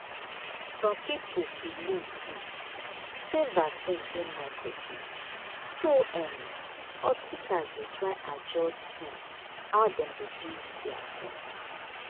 some people believe um say vaccine get microchip so um hospitals dey try adjust um how dem dey do their things.